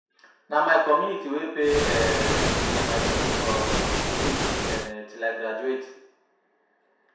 Na my community wey pay um for my school um fees um till I graduate